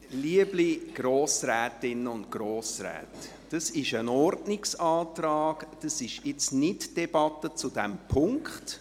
Liebe Grossrätinnen und Grossräte, dies ist ein Ordnungsantrag und nicht die Debatte zu diesem Punkt.